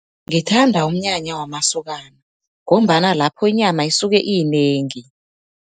Ngithanda umnyanya wamasokana, ngombana lapho inyama isuke iyinengi.